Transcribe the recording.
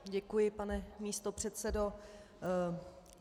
Děkuji, pane místopředsedo.